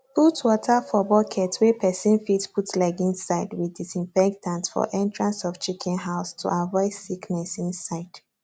put water for bucket wey person fit put leg inside with disinfectant for entrance of chicken house to aviod sickness inside